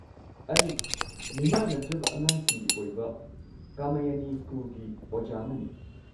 ꯑꯩ ꯃꯤꯃꯥꯟꯅꯗ꯭ꯔꯕ ꯑꯉꯥꯡꯁꯤꯡꯒꯤ ꯑꯣꯏꯕ ꯀꯃꯌꯥꯅꯤ ꯁ꯭ꯀꯨꯜꯒꯤ ꯑꯣꯖꯥ ꯑꯃꯅꯤ꯫